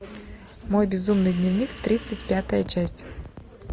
мой безумный дневник тридцать пятая часть